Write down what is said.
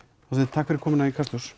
takk fyrir komuna í Kastljós